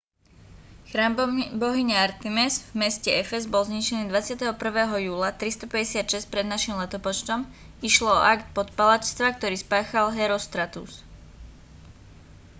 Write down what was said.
chrám bohyne artemis v meste efez bol zničený 21. júla 356 pred n.l. išlo o akt podpaľačstva ktorý spáchal herostratus